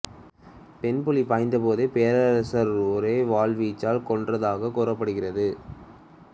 பெண் புலி பாய்ந்த போது பேரரசர் ஒரே வாள் வீச்சில் கொன்றதாக கூறப்படுகிறது